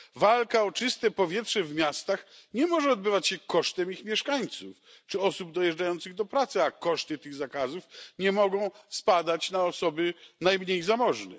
Walka o czyste powietrze w miastach nie może odbywać się kosztem ich mieszkańców czy osób dojeżdżających do pracy, a koszty tych zakazów nie mogą spadać na osoby najmniej zamożne.